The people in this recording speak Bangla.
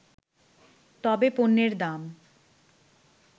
তবে পণ্যের দাম